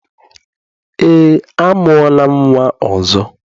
Eé, amụọla m nnwa ọzọ.